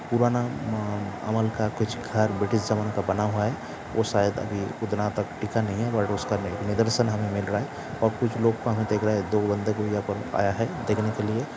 पुराना अ-अ-अ-अमल का कुछ घर ब्रिटिश ज़माने का बना हुआ है और शायद अभी उतना तक टिका नहीं है बट उसका मदर सन हमें मिल रहा है और कुछ लोग दो बंदे आया है देखने के लिए।